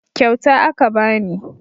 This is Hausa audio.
Kyauta aka bani